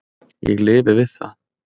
Ég lifi við það.